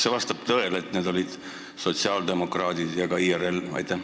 Kas vastab tõele, et need olid sotsiaaldemokraadid ja ka IRL?